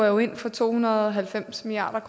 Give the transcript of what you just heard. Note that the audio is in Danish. jo ind for to hundrede og halvfems milliard